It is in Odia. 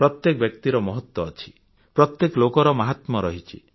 ପ୍ରତ୍ୟେକ ବ୍ୟକ୍ତିର ମହତ୍ୱ ଅଛି ପ୍ରତ୍ୟେକ ଲୋକର ମାହାତ୍ମ୍ୟ ଅଛି